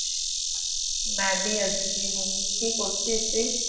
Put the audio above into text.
কি করছিস তুই